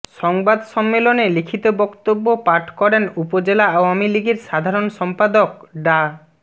সংবাদ সম্মেলনে লিখিত বক্তব্য পাঠ করেন উপজেলা আওয়ামী লীগের সাধারণ সম্পাদক ডা